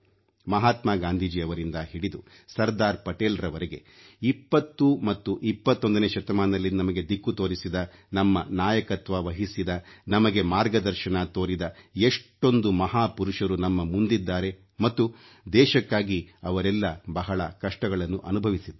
ಮಹಾತ್ಮ ಗಾಂಧಿಯವರಿಂದ ಹಿಡಿದು ಸರ್ದಾರ್ ಪಟೇಲ್ ಅವರ ವರೆಗೆ 20 ಮತ್ತು 21ನೇ ಶತಮಾನದಲ್ಲಿ ನಮಗೆ ದಿಕ್ಕು ತೋರಿಸಿದ ನಮ್ಮ ನಾಯಕತ್ವ ವಹಿಸಿದ ನಮಗೆ ಮಾರ್ಗದರ್ಶನ ತೋರಿದ ಎಷ್ಟೊಂದು ಮಹಾಪುರುಷರು ನಮ್ಮ ಮುಂದಿದ್ದಾರೆ ಮತ್ತು ದೇಶಕ್ಕಾಗಿ ಅವರೆಲ್ಲ ಬಹಳ ಕಷ್ಟಗಳನ್ನು ಅನುಭವಿಸಿದ್ದಾರೆ